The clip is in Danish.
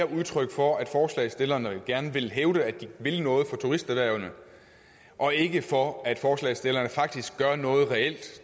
udtryk for at forslagsstillerne gerne vil hævde at de vil noget for turisterhvervene og ikke for at forslagsstillerne faktisk gør noget reelt